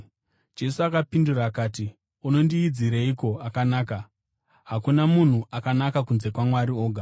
Jesu akapindura akati, “Unondiidzireiko akanaka? Hakuna munhu akanaka kunze kwaMwari oga.